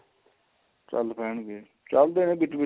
ਚਲ ਪੈਣਗੇ ਚਲਦੇ ਨੇ ਵਿੱਚ ਵਿੱਚ